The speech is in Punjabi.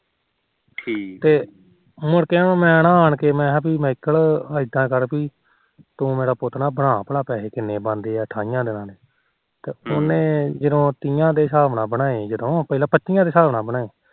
ਮੁੜ ਕੇ ਨਾ ਮੈ ਨਾ ਆਣ ਕੇ ਮਹਿਕਲ ਇਦਾ ਕਰ ਪੀ ਤੂੰ ਮੇਰਾ ਪੁਤ ਨਾ ਬਣਾ ਪੈਹੇ ਕਿੰਨੇ ਬਣਦੇ ਆ ਠਾਈਆ ਦਿਨਾ ਦੇ ਉਹਨੇ ਤੀਹਾ ਦੇ ਸਾਬ ਨਾ ਬਣੇ ਪਹਿਲੋ ਪੱਚੀਆ ਦੇ ਨਾਲ ਬਣਾਏ